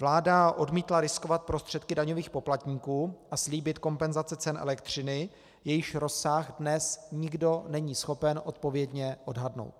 Vláda odmítla riskovat prostředky daňových poplatníků a slíbit kompenzace cen elektřiny, jejichž rozsah dnes nikdo není schopen odpovědně odhadnout.